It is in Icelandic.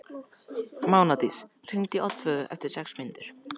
Mánadís, hringdu í Oddveigu eftir sex mínútur.